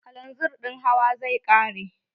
Kalanzir ɗin Hauwa zai ƙare.